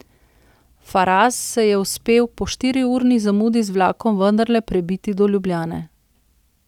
Faraz se je uspel po štiriurni zamudi z vlakom vendarle prebiti do Ljubljane.